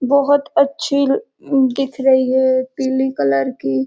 बहोत अच्छी दिख रही है पीले कलर की --